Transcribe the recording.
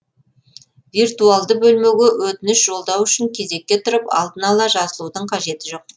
виртуалды бөлмеге өтініш жолдау үшін кезекке тұрып алдын ала жазылудың қажеті жоқ